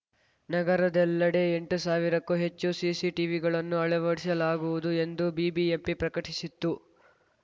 ನಗರದೆಲ್ಲೆಡೆ ಎಂಟು ಸಾವಿರಕ್ಕೂ ಹೆಚ್ಚು ಸಿಸಿ ಟಿವಿಗಳನ್ನು ಅಳವಡಿಸಲಾಗುವುದು ಎಂದು ಬಿಬಿಎಂಪಿ ಪ್ರಕಟಿಸಿತ್ತು